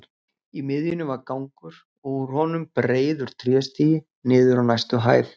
Í miðjunni var gangur og úr honum breiður tréstigi niður á næstu hæð.